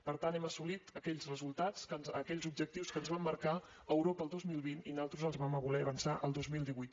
per tant hem assolit aquells resultats aquells objectius que ens va marcar europa el dos mil vint i nosaltres els vam voler avançar al dos mil divuit